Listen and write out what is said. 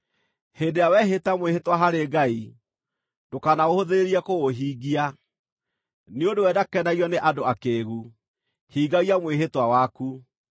Hĩndĩ ĩrĩa wehĩta mwĩhĩtwa harĩ Ngai, ndũkanahũthĩrĩrie kũũhingia. Nĩ ũndũ we ndakenagio nĩ andũ akĩĩgu; hingagia mwĩhĩtwa waku.